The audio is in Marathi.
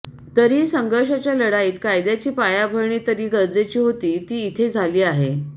तरीही संघर्षाच्या लढाईत कायद्याची पायाभरणी तरी गरजेची होती ती इथं झाली आहे